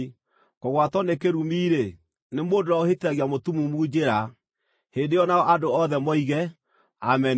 “Kũgwatwo nĩ kĩrumi-rĩ, nĩ mũndũ ũrĩa ũhĩtithagia mũtumumu njĩra.” Hĩndĩ ĩyo nao andũ othe moige, “Ameni!”